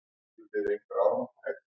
Jón Már Halldórsson.